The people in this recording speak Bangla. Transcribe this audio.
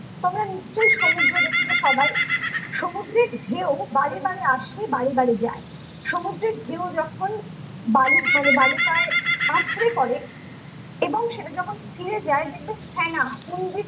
তোমরা নিশ্চয় সমুদ্র দেখেছো সবাই সমুদ্রের ঢেউ বারে বারে আসে বারে বারে যায় সমুদ্রের ঢেউ যখন বালু মানে বালুকায় আছড়ে পড়ে এবং সেটা যখন ছেয়ে যায় দেখবে ফেনা